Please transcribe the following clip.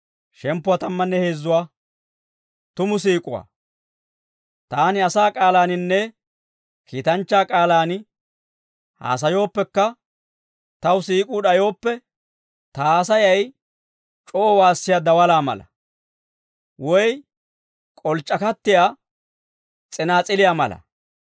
Taani asaa k'aalaaninne kiitanchchaa k'aalaan haasayooppekka taw siik'uu d'ayooppe, ta haasayay c'oo waassiyaa dawalaa mala; woy k'olc'c'akattiyaa s'inaas'iliyaa mala.